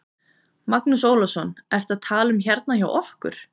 Magnús Ólafsson: Ertu að tala um hérna hjá okkur?